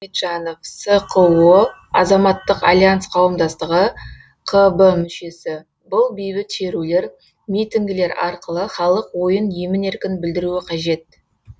мұхамеджанов сқо азаматтық альянс қауымдастығы қб мүшесі бұл бейбіт шерулер митингілер арқылы халық ойын емін еркін білдіруі қажет